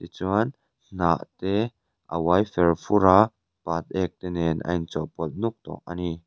tichuan hnah te a uai fer fur a pat ek te nen a inchawlhpawlh nawk tawh a ni.